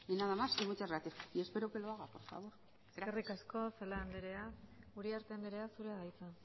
nada más y muchas gracias y espero que lo haga por favor eskerrik asko celaá anderea uriarte anderea zurea da hitza